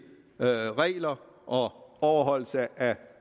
regler og overholdelse af